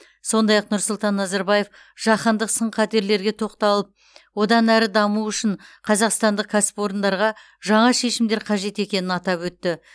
сондай ақ нұрсұлтан назарбаев жаһандық сын қатерлерге тоқталып одан әрі даму үшін қазақстандық кәсіпорындарға жаңа шешімдер қажет екенін атап өтті